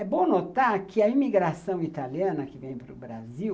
É bom notar que a imigração italiana que vem para o Brasil,